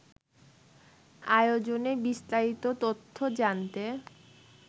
আয়োজনে বিস্তারিত তথ্য জানতে